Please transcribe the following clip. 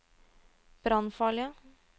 brannfarlige